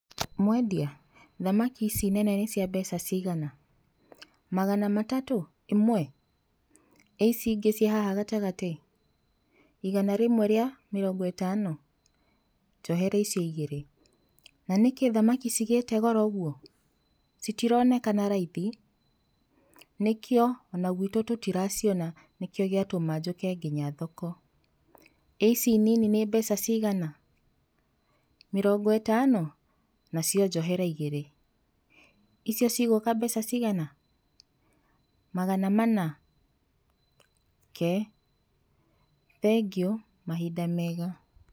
Mwendia, thamaki ici nene nĩ cia mbeca cigana? Magana matatũ? Imwe? ĩ ici ingĩ ciĩ haha gatagatĩ? Igana rĩmwe rĩa mĩrongo ĩtano? Njohera icio igĩrĩ. Na nĩkĩ thamaki cigĩĩte goro ũguo? Citironekana raithi? Nĩkĩo,o na gwitũ tũtĩraciona nĩkĩo gĩatũma njũke nginya thoko.ĩ ici nini nĩ mbeca cigana? Mĩrongo ĩtano? Nacio njohera igĩrĩ. Icio ci gũka mbeca cigana? Magana mana? Ke, thengiũ, mahinda mega.